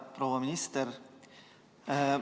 Proua minister!